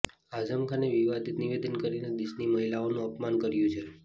આઝમ ખાને વિવાદિત નિવેદન કરીને દેશની મહિલાઓનું અપમાન કર્યું છે